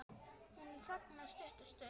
Hún þagnar stutta stund.